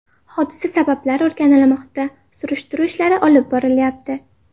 Hodisa sabablari o‘rganilmoqda, surishtiruv ishlari olib borilyapti.